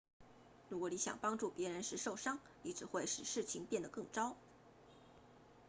如果你想帮助别人时受伤你只会使事情变得更糟